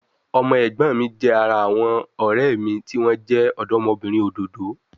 Ọmọ ẹ̀gbọ́n mi jẹ́ ara àwọn ọ̀rẹ́ mi tí wọ́n jẹ́ ọ̀dọ́bìnrin òdòdó